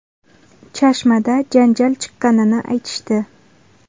Chashmada janjal chiqqanini aytishdi.